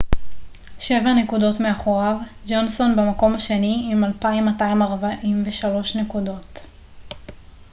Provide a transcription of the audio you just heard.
שבע נקודות מאחוריו ג'ונסון במקום השני עם 2,243 נקודות